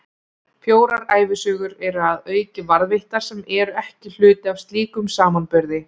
Fjórar ævisögur eru að auki varðveittar, sem eru ekki hluti af slíkum samanburði.